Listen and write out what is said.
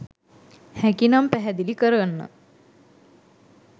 හැකි නම් පැහැදිලි කරන්න